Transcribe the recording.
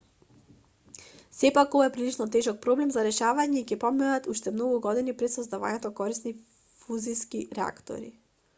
сепак ова е прилично тежок проблем за решавање и ќе поминат уште многу години пред создавањето корисни фузиски реактори